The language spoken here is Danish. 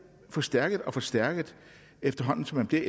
forstærket og forstærket efterhånden som de